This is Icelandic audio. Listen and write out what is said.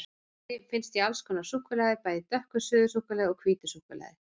Efni finnst í alls konar súkkulaði, bæði í dökku suðusúkkulaði og hvítu súkkulaði.